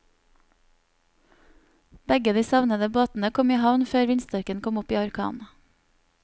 Begge de savnede båtene kom i havn før vindstyrken kom opp i orkan.